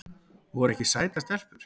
Voru ekki sætar stelpur?